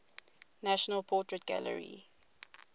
national portrait gallery